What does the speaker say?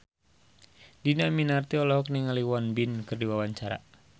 Dhini Aminarti olohok ningali Won Bin keur diwawancara